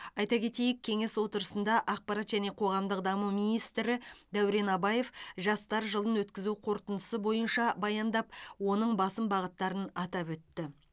айта кетейік кеңес отырысында ақпарат және қоғамдық даму министрі дәурен абаев жастар жылын өткізу қорытындысы бойынша баяндап оның басым бағыттарын атап өтті